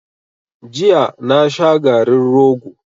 Jiya na sha garin rogo.